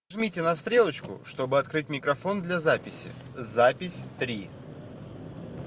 жмите на стрелочку чтобы открыть микрофон для записи запись три